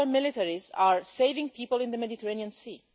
Our militaries are saving people in the Mediterranean Sea.